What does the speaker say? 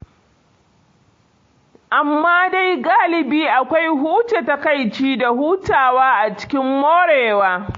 Amma dai galibi akwai huce takaici da hutawa a cikin morewa.